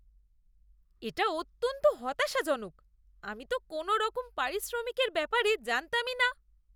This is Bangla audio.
এটা অত্যন্ত হতাশাজনক। আমি তো কোনওরকম পারিশ্রমিকের ব্যাপারে জানতামই না।